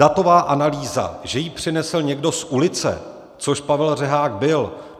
Datová analýza, že ji přinesl někdo z ulice, což Pavel Řehák byl.